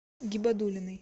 гибадуллиной